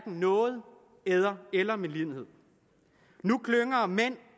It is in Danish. nåde eller eller medlidenhed nu klynger mænd